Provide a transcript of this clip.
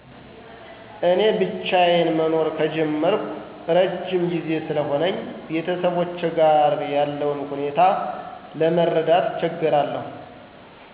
እኔ ብቻዩን መኖር ከጀመርኩ እረዥም ጊዜ ስለሆነኝ ቤተሰቦቼ ጋር ያለውን ሁኔታ ለመረዳት እቸገራለሁ።